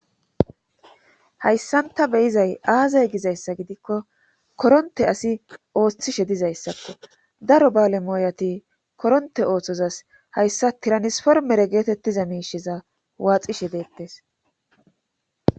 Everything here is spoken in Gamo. Hayssan ta beyizay aazay gizayssa gidikko koronte asi ooththishe dizayssakko daro baale mooyati koronte ooththozas hayssa tiranisformere geetettiza miishiza waaxishe deettes.